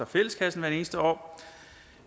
fælleskassen hvert eneste år